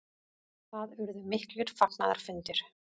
Það urðu miklir fagnaðarfundir.